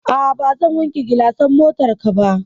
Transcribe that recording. A'a, bazan wanke gilasan motarka ba.